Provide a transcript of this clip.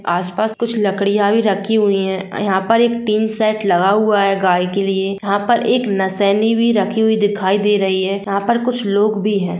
आसपास कुछ लकड़िया भी रखी हुई है यहा पर एक टीन शेट भी लगा हुवा है गाय के लिए यहा पर एक नशेनी भी रखी हुई दिखाई दे रही है यहा पर कुछ लोग भी है।